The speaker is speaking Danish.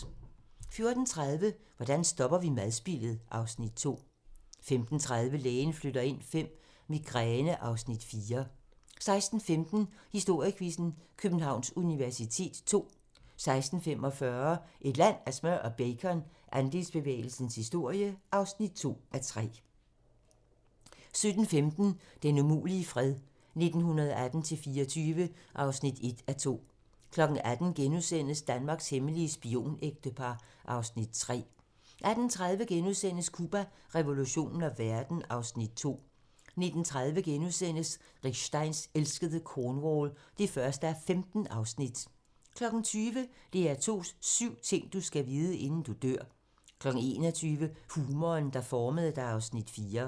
14:30: Hvordan stopper vi madspildet? (Afs. 2) 15:30: Lægen flytter ind V - Migræne (Afs. 4) 16:15: Historiequizzen: Københavns universitet ll 16:45: Et land af smør og bacon - Andelsbevægelsens historie (2:3) 17:15: Den umulige fred - 1918-24 (1:2) 18:00: Danmarks hemmelige spionægtepar (Afs. 3)* 18:30: Cuba, revolutionen og verden (Afs. 2)* 19:30: Rick Steins elskede Cornwall (1:15)* 20:00: DR2's syv ting, du skal vide, inden du dør 21:00: Humoren, der formede dig (Afs. 4)